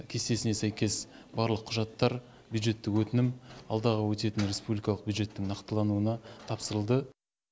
кестесіне сәйкес барлық құжаттар бюджеттік өтінім алдағы өтетін республикалық бюджеттің нақтылануына тапсырылды